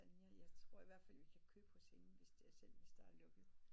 Tanja jeg tror ihvertfald vi kan købe hos hende hvis selv hvis der er lukket